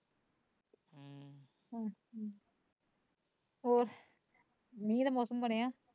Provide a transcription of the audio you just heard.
ਹੋਰ ਮੀਂਹ ਦਾ ਮੋਸਮ ਬਣਿਆ